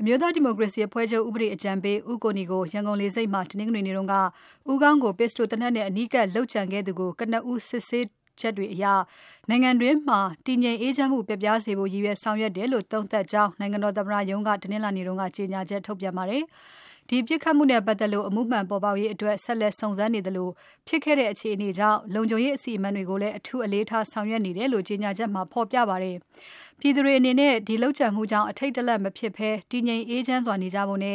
အမျိုးသားဒီမိုကရေစီအဖွဲ့ချုပ် ဥပဒေအကြံပေး ဦးကိုနီကို ရန်ကုန်လေဆိပ်မှာ တနင်္ဂနွေနေ့က ဦးခေါင်းကို ပစ္စတိုသေနတ်နဲ့ အနီးကပ်လုပ်ကြံခဲ့သူကို ကနဦး စစ်ဆေးချက်တွေအရ နိုင်ငံအတွင်းမှာ တည်ငြိမ်အေးချမ်းမှု ပျက်ပြားစေဖို့ ရည်ရွယ်ဆောင်ရွက်တယ်လို့ သုံးသပ်ကြောင်း နိုင်ငံတော်သမ္မတရုံးက တနင်္လာနေ့က ကြေညာချက်ထုတ်ပြန်ခဲ့ပါတယ်။ ဒီပစ်ခတ်မှုနဲ့ပတ်သက်လို့ အမှုမှန်ပေါ်ပေါက်ရေးအတွက် ဆက်လက်စုံစမ်းစစ်ဆေးနေသလို ဖြစ်ခဲ့တဲ့ အခြေအနေကြောင့် လုံခြုံရေးအစီအမံတွေကိုလည်း အထူးအလေးထားဆောင်ရွက်နေတယ်လို့ ကြေညာချက်မှာ ဖော်ပြထားပါတယ်။ ပြည်သူတွေအနေနဲ့ ဒီလုပ်ကြံမှုကြောင့် အထိတ်တလန့် မဖြစ်ဘဲ တည်ငြိမ်းအေးချမ်းစွာနေကြဖို့၊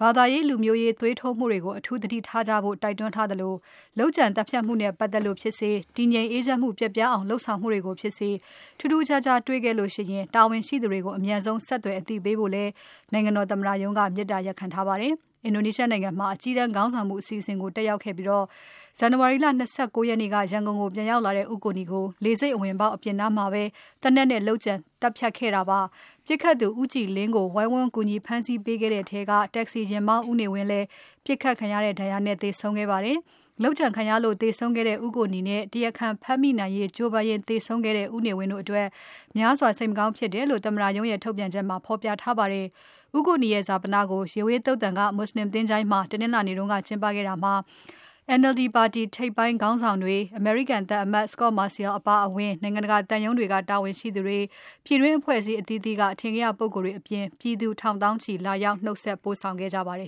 ဘာသာရေး လူမျိုးရေးသွေးထိုးမှုတွေကို အထူးသတိထားကြဖို့ တိုက်တွန်းသလို လုပ်ကြံသတ်ဖြတ်မှုနဲ့ပတ်သက်လို့ဖြစ်စေ၊ တည်ငြိမ်အေးချမ်းမှု ပျက်အောင်လုပ်ဆောင်မှုတွေကိုဖြစ်စေ ထူးခြားမှုတွေ တေ့ွခဲ့ရင် တာဝန်ရှိသူတွေကို အမြန်ဆုံးဆက်သွယ် အသိပေးဖို့လည်း နိုင်ငံတော်သမ္မတရုံးက မေတ္တာရပ်ခံထားပါတယ်။ အင်ဒိုနီးရှားနိုင်ငံမှာ အကြီးတန်းခေါင်းဆောင်မှု အစီအစဉ်ကို တက်ရောက်ခဲ့တဲ့ပြီး ဇန်နဝါရီလ ၂၉ ရက်နေ့က ရန်ကုန်ကို ပြန်ရောက်လာတဲ့ ဦးကိုနီကို လေဆိပ်အဝင်ပေါက် အပြင်နားမှာပဲ သေနတ်နဲ့ လုပ်ကြံသတ်ဖြတ်ခဲ့တာဖြစ်ပါတယ်။ ပစ်ခတ်သူ ဦးကြည်လင်းကို ဝိုင်းဝန်းကူညီဖမ်းဆီးပေးခဲ့တဲ့ထဲက တက္ကစီယာဉ်မောင်း ဦးနေဝင်းလည်း ပစ်ခတ်ခံရတဲ့ ဒဏ်ရာနဲ့သေဆုံးခဲ့ပါတယ်။ လုပ်ကြံခံရလို့ သေဆုံးခဲ့တဲ့ ဦးကိုနီနဲ့ တရာခံဖမ်းမိနိုင်ရေးကြိုးပမ်းရင်း သေဆုံးခဲ့တဲ့ ဦးနေဝင်းတို့အတွက် များစွာစိတ်မကောင်းဖြစ်ရတယ်လို့လည်း သမ္မတရုံးထုတ်ပြန်ချက်မှာ ဖော်ပြထားပါတယ်။ ဦးကိုနီရဲ့ ဈာပနကို ရေဝေးသုသာန်က မွတ်ဆလင်သချုႋင်းမှာ တနင်္လာနေ့က ကျင်းပခဲ့တာမှာ NLD ပါတီ ထိပ်ပိုင်းခေါင်းဆောင်တွေ၊ အမေရိကန်သံအမတ် Scot Marciel အပါအဝင် နိုင်ငံတကာသံရုံးတွေက တာဝန်ရှိသူတွေ၊ ပြည်တွင်းအဖွဲ့အစည်းအသီးသီးက အထင်ကရပုဂ္ဂိုလ်တွေအပြင် ပြည်သူထောင်သောင်းချီလာရောက် နှုတ်ဆက်ပို့ဆောင်ခဲ့ကြပါတယ်